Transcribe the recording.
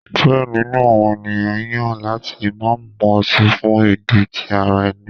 Diẹ ninu awọn eniyan yan lati ma mu oti fun idi ti ara ẹni.